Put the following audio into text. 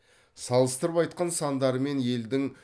салыстырып айтқан сандары мен елдің